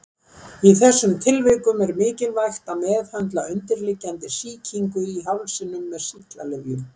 Í þessum tilvikum er mikilvægt að meðhöndla undirliggjandi sýkingu í hálsinum með sýklalyfjum.